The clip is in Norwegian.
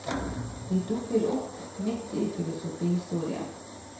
De dukker opp midt i filosofihistorien.